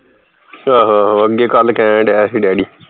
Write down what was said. ਆਹੋ ਆਹੋ ਅੱਗੇ ਕੱਲ ਕਹਿਣ ਦਿਆ ਹੀ ਡੈਡੀ